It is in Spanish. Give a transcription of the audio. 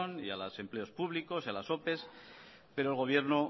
y a los empleos públicos y a las opes pero el gobierno